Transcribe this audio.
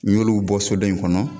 N'i y'oluw bɔ so dɔ in kɔnɔ